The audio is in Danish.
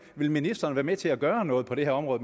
vil ministeren være med til at gøre noget på det her område